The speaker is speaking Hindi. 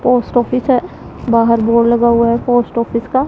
पोस्ट ऑफिस है बाहर बोर्ड लगा हुआ है पोस्ट ऑफिस का--